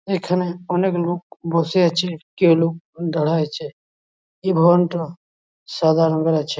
এখানে অনেক লোক বসে আছে কেউ লোক দাঁড়ায় আছে। এই ভ্যান -টা সাদা রঙের আছে।